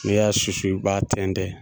Ne y'a susu i b'a tɛntɛn.